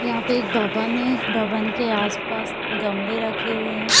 यहां पे एक भवन है भवन के आस-पास गमले रखे हुए हैं।